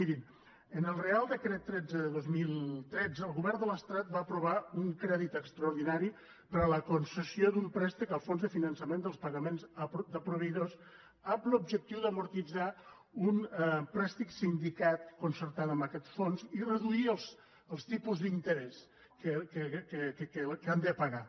mirin en el reial decret tretze de dos mil tretze el govern de l’estat va aprovar un crèdit extraordinari per a la concessió d’un préstec al fons de finançament dels pagaments a proveïdors amb l’objectiu d’amortitzar un préstec sindicat concertant amb aquests fons i reduir els tipus d’in terès que han de pagar